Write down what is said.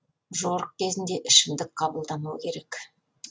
жорық кезінде ішімдік қабылдамау керек